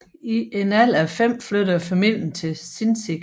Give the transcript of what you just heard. I en alder af fem flyttede familien til Sinzig